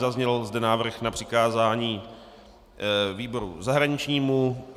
Zazněl zde návrh na přikázání výboru zahraničnímu.